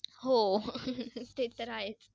हो ते तर आहेच.